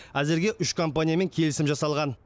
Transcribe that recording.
әзірге үш компаниямен келісім жасалған